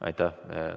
Aitäh!